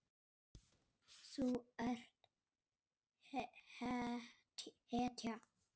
Þú ert hetja.